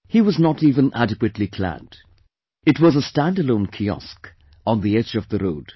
He was not even adequately clad; it was a standalone kiosk on the edge of the road